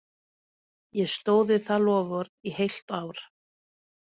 Ég stóð við það loforð í heilt ár.